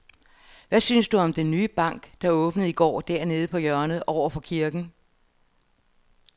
Hvad synes du om den nye bank, der åbnede i går dernede på hjørnet over for kirken?